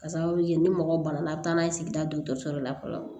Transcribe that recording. Ka sababu kɛ ni mɔgɔ bana a bɛ taa n'a ye sigida dɔgɔtɔrɔso la fɔlɔ